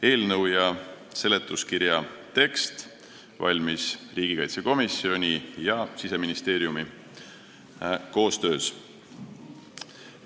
Eelnõu ja seletuskirja tekst valmis riigikaitsekomisjoni ja Siseministeeriumi koostöös.